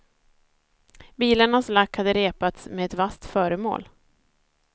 Bilarnas lack hade repats med ett vasst föremål.